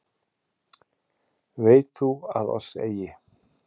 Veit þú að oss eigi